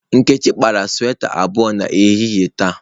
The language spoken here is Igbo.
Nkechi kpara sweta abụọ n'ehihie taa.